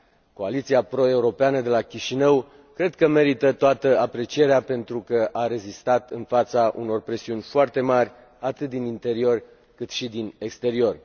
Coaliția pro europeană de la Chișinău cred că merită toată aprecierea pentru că a rezistat în fața unor presiuni foarte mari, atât din interior, cât și din exterior.